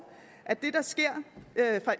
at det der sker